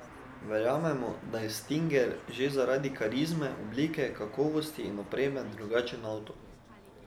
Verjamemo, da je stinger, že zaradi karizme, oblike, kakovosti in opreme, drugačen avto.